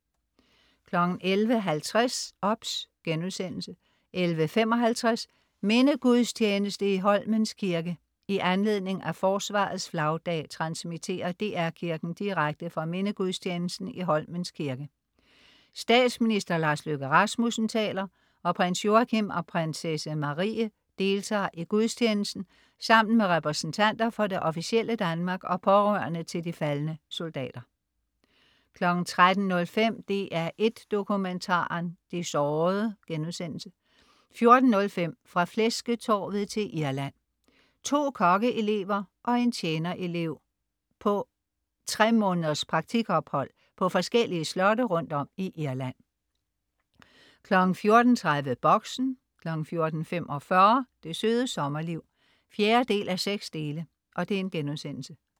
11.50 OBS* 11.55 Mindegudstjeneste i Holmens Kirke. I anledning af Forsvarets Flagdag transmitterer DR Kirken direkte fra mindegudstjenesten i Holmens Kirke. Statsminister Lars Løkke Rasmussen taler, og Prins Joachim og Prinsesse Marie deltager i gudstjenesten sammen med repræsentanter for det officielle Danmark og pårørende til de faldne soldater 13.05 DR1 Dokumentaren: De sårede* 14.05 Fra flæsketorvet til Irland. To kokkeelever og en tjener elev er på et tre måneders praktik ophold på forskellige slotte rundt om i Irland 14.30 Boxen 14.45 Det Søde Sommerliv 4:6*